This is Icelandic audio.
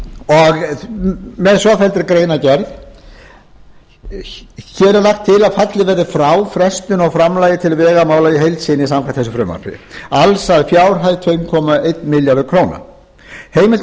svofelldri greinargerð hér er lagt til að fallið verði frá frestun á framlagi til vegamála í heild sinni samkvæmt þessu frumvarpi alls að fjárhæð tvö komma eitt milljarðar króna heimilt verði